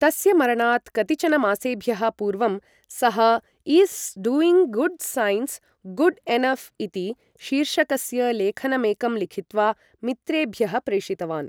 तस्य मरणात् कतिचनमासेभ्यः पूर्वं, सः is doing good sins good enough? इति शिर्षकस्य लेखनमेकं लिखित्वा, मित्रेभ्यः प्रेषितवान्।